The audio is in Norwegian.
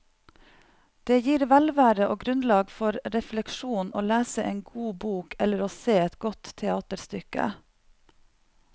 Det gir velvære og grunnlag for refleksjon å lese en god bok eller å se et godt teaterstykke.